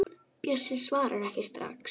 Bjössi svarar ekki strax.